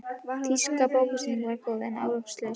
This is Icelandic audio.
Þýska bókasýningin var góð, en árangurslaus.